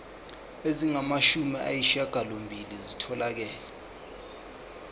ezingamashumi ayishiyagalolunye zitholakele